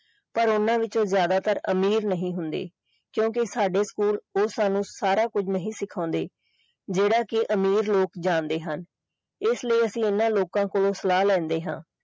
ਪਰ ਓਹਨਾ ਵਿੱਚੋਂ ਜ਼ਿਆਦਾਤਰ ਅਮੀਰ ਨਹੀਂ ਹੁੰਦੇ ਕਿਉਂਕਿ ਸਾਡੇ school ਉਹ ਸਾਨੂੰ ਸਾਰਾ ਕੁਝ ਨਹੀਂ ਸਿਖਾਉਂਦੇ ਜਿਹੜਾ ਕਿ ਮਾਰ ਲੋਕ ਜਾਣਦੇ ਹਨ ਇਸ ਲਈ ਅਸੀਂ ਓਹਨਾ ਲੋਕਾਂ ਤੋਂ ਸਲਾਹ ਲੈਂਦੇ ਹਾਂ।